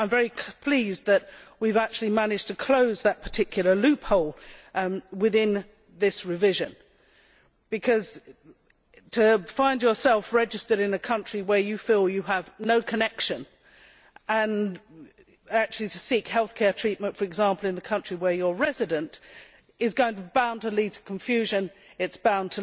I am very pleased that we have actually managed to close that particular loophole within this revision, because to find yourself registered in a country where you feel you have no connection and to seek health care treatment, for example, in the country where you are resident, is bound to lead to confusion and